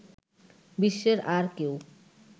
বিশ্বের আর কেউ